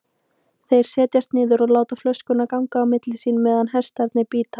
Þeir setjast niður og láta flösku ganga á milli sín meðan hestarnir bíta.